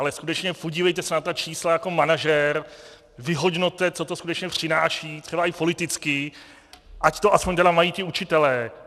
Ale skutečně, podívejte se na ta čísla jako manažer, vyhodnoťte, co to skutečně přináší, třeba i politicky, ať to aspoň tedy mají ti učitelé.